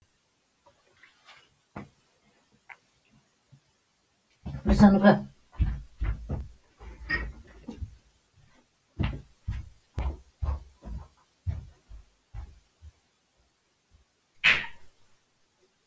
звезда ленинград жазушылар ұйымының әдеби көркем қоғамдық саяси журналы